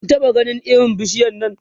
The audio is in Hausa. Kun taɓa ganin irin bishiyar Nan?